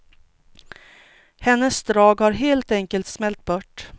Hennes drag har helt enkelt smält bort.